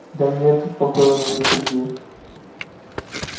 да нет успокоил меня сергей